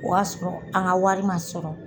O y'a sɔrɔ an ka wari man sɔrɔ.